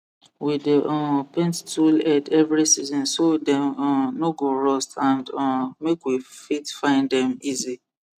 we dey um paint tool head every season so dem um no go rust and um make we fit find dem easy